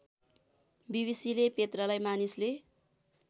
बीबीसीले पेत्रालाई मानिसले